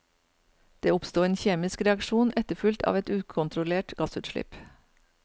Det oppsto en kjemisk reaksjon etterfulgt av et ukontrollert gassutslipp.